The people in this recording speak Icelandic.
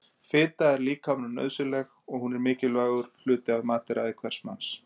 Fita er líkamanum nauðsynleg og hún er mikilvægur hluti af mataræði hvers manns.